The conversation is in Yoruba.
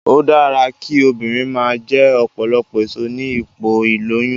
Ó dára kí obìnrin máa jẹ ọ̀pọ̀lọpọ̀ èso ní ipò ìlóyún